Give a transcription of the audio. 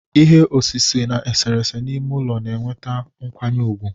Ihe osise na eserese n'ime ụlọ na-eweta nkwanye ùgwù